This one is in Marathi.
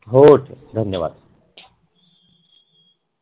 हो धन्यवाद